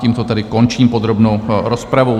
Tímto tedy končím podrobnou rozpravu.